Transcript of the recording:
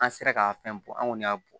An sera ka fɛn bɔ anw y'a bɔ